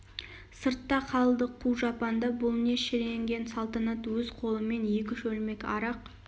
сыртта қалды қу жапанда бұл не шіренген салтанат өз қолымен екі шөлмек арақ